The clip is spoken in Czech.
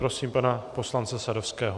Prosím pana poslance Sadovského.